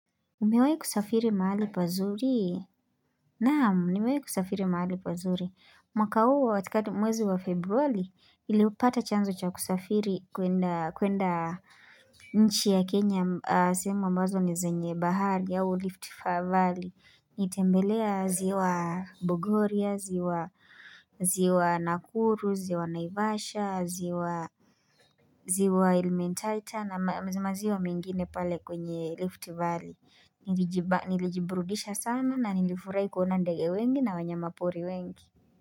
Umewahi kusafiri mahali pazuri? Naam, nimewahi kusafiri mahali pazuri. Mwaka huu, katikati mwezi wa februari, niliupata chanzo cha kusafiri kuenda nchi ya Kenya, sehemu ambazo ni zenye bahari au lift valley Nilitembelea ziwa Bogoria, ziwa Nakuru, ziwa Naivasha, ziwa Elementaita, na mazima ziwa mengine pale kwenye lift valley. Niliji bak nilijiburudisha sana na nilifurahi kuouna ndege wengi na wanyama pori wengi.